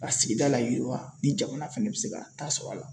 Ka sigida layiriwa ni jamana fana bɛ se k'a ta sɔrɔ a la.